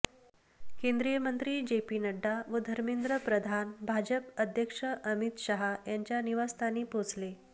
केंद्रीय मंत्री जेपी नड्डा व धर्मेंद्र प्रधान भाजप अध्यक्ष अमित शाह यांच्या निवासस्थानी पोहोचले